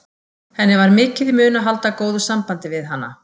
Henni var mikið í mun að halda góðu sambandi við hana.